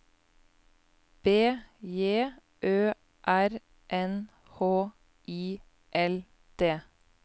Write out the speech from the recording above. B J Ø R N H I L D